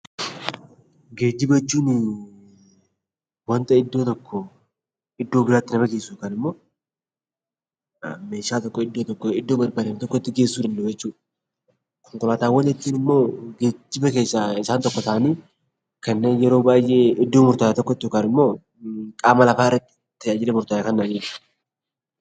Geejjiba jechuun wanta iddoo tokkoo iddoo biraatti taasisu yookaan immoo meeshaa tokko iddoo tokkoo gara iddoo tokkootti geessuu danda'u jechuudha. Konkolaataawwan jechuun immoo geejjiba keessaa tokko ta'anii kanneen yeroo baay'ee iddoo murtaa'aa tokkotti yookaan immoo qaama lafaarratti tajaajila murtaa'e kennan jechuudha.